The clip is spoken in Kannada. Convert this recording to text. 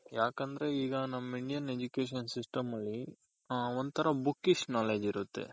ಯಾಕಂದ್ರೆ ಈಗ ನಮ್ Indian Education system ಅಲ್ಲಿ ಹ ಒಂತರ Bookies knowledge ಇರುತ್ತೆ.